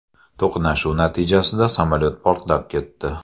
To‘qnashuv natijasida samolyot portlab ketdi.